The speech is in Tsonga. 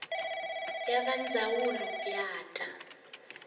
ya va ndzawulo ya ta